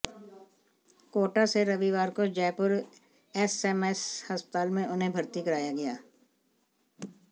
कोटा से रविवार को जयपुर एसएमएस अस्पताल में उन्हें भर्ती कराया गया